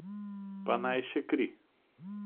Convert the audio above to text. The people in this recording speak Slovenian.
Pa naj še kri.